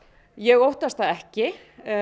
ég óttast það ekki